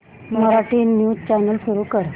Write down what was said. Marathi news channel सुरू कर